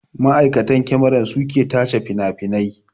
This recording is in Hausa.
Ma'aikatan kyamara su ke tace finafinai